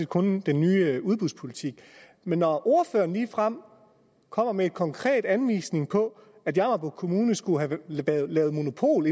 kun den nye udbudspolitik men når ordføreren ligefrem kommer med en konkret anvisning på at jammerbugt kommune skulle have lavet monopol